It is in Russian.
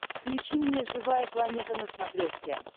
включи мне живая планета на смотрешке